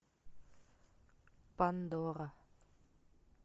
пандора